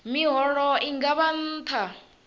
miholo i nga vha nṱha